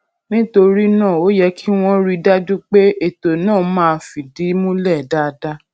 nítorí náà ó yẹ kí wón rí i dájú pé ètò náà máa fìdí múlè dáadáa